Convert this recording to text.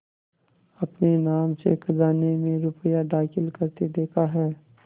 अपने नाम से खजाने में रुपया दाखिल करते देखा है